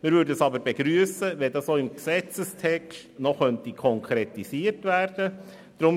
Wir würden es aber begrüssen, wenn es auch im Gesetzestext noch konkretisiert werden könnte.